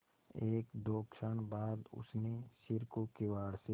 एकदो क्षण बाद उसने सिर को किवाड़ से